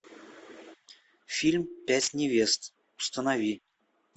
фильм пять невест установи